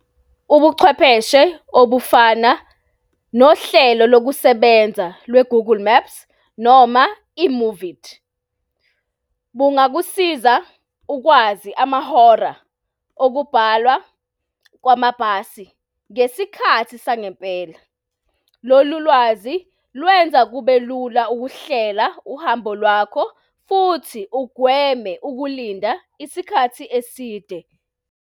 Ubuchwepheshe obufana nohlelo lokusebenza lwe-Google Maps noma i-Move It, bungakusiza ukwazi amahora okubhalwa kwamabhasi ngesikhathi sangempela. Lolu lwazi lwenza kube lula ukuhlela uhambo lwakho futhi ugweme ukulinda isikhathi eside.